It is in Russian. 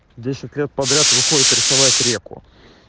десть лет подряд выходит рисовать реку